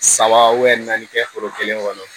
Saba naani kɛ foro kelen kɔnɔ